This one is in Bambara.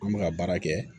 An bɛ ka baara kɛ